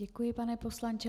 Děkuji, pane poslanče.